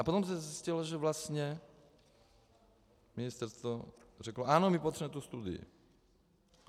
A potom se zjistilo, že vlastně ministerstvo řeklo ano, my potřebujeme tu studii.